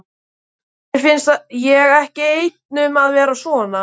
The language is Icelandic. Mér finnst ég ekki einn um að vera svona